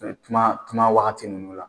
Kuma kuma wagati ninnu la